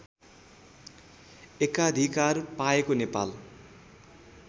एकाधिकार पाएको नेपाल